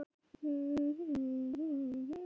öndunarhreyfingar eru taktfastar og nokkuð reglulegar